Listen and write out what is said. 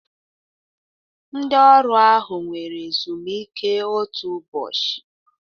Ndị ọrụ ahụ were ezumike otu ụbọchị